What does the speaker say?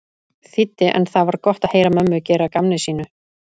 þýddi en það var gott að heyra mömmu gera að gamni sínu.